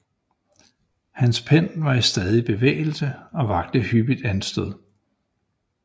Hans pen var i stadig bevægelse og vakte hyppigt anstød